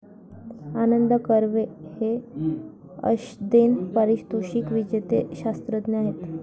आनंद कर्वे हे अश्देन परितोषिक विजेते शास्त्रज्ञ आहेत.